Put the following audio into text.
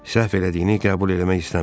Səhv elədiyini qəbul eləmək istəmir.